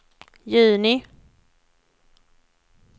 juni